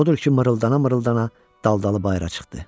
Odur ki, mırıldana-mırıldana daldalı bayıra çıxdı.